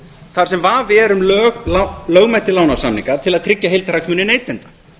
þar sem vafi er um lögmæti lánasamninga til að tryggja heildarhagsmuni neytenda